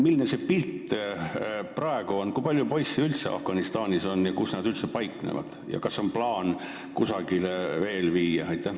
Milline see pilt nüüd on – kui palju poisse üldse Afganistanis on, kus nad üldse paiknevad ja kas on plaanis neid veel kusagile viia?